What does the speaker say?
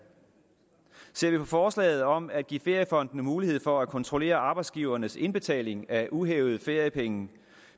ser vi på forslaget om at give feriefondene mulighed for at kontrollere arbejdsgivernes indbetaling af uhævede feriepenge